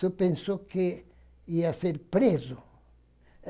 Só pensou que ia ser preso.